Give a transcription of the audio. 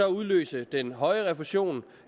udløse den højere refusion